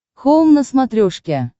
хоум на смотрешке